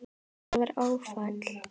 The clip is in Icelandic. Þetta var áfall.